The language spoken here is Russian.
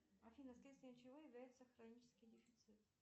афина следствием чего является хронический дефицит